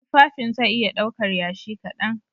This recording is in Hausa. Tufafin zai iya ɗaukar Yashi kaɗan